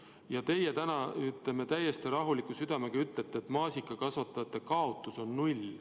Ja teie ütlete täna täiesti rahuliku südamega, et maasikakasvatajate kaotus on null.